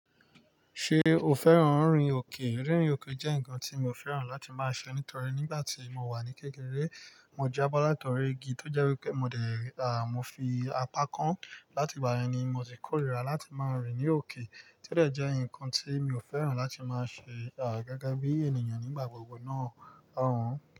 Ṣé o fẹ́ràn rìn òkè? Rín rin òkè jẹ́ nǹkan tí mo fẹ́ràn láti máa ṣe nítorí nígbà tí mo wà ní kékeré, mo jábọ́ látọ̀rí igi tó jẹ́ wí pẹ́ mo dè, à, mo fi apá kan. Láti ìgbà yẹn ni mo ti kórìíra láti máa rìn ní òkè, ti o de je nǹkan tí mi ò fẹ́ràn láti máa ṣe, à, gege bí ènìyàn nígbà gbogbo náà, àun.